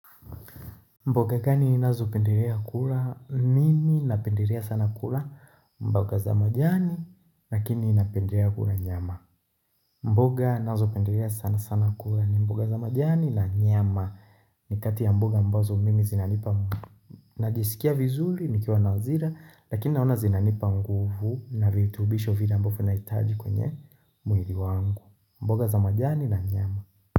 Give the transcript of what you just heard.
Mboga gani unazopendelea kula nimi napendelea sana kula mboga za majani lakini ninapendelea kula nyama mboga inazo pendelea sana sana kula ni mboga za majani na nyama ni kati ya mboga ambazo mimi zinanipa mboga Najisikia vizuri nikiwa na hazira lakini naona zinanipa nguvu na virutubisho vile ambavyo nahitaji kwenye mwiri wangu mboga za majani na nyama.